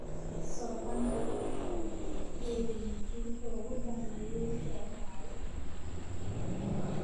soo bandhig dhacdooyinkii ugu dambeeyay ee dhacaya